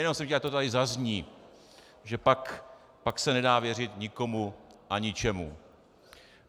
Jenom jsem chtěl, ať to tady zazní, že pak se nedá věřit nikomu a ničemu.